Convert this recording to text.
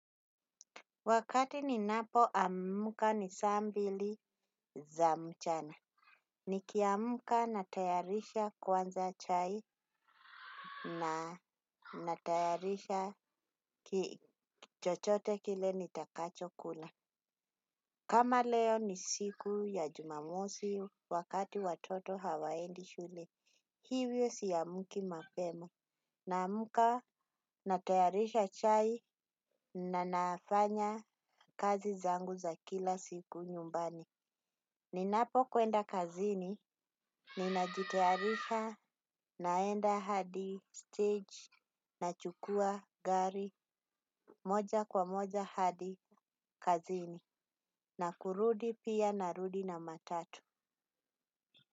Wakati ninapo ammuka ni sambili za mchana. Ni kiamka natayarisha, kwanza chai na natayarisha chochote kile nitakacho kula. Kama leo ni siku ya Jumamosi wakati watoto hawaendi shule. Hivyo siamuki mapema. Namuka natayarisha chai na nafanya kazi zangu za kila siku nyumbani. Ninapo kwenda kazini, ninajitearisha, naenda hadi stage, nachukua gari moja kwa moja hadi kazini, na kurudi pia narudi na matatu.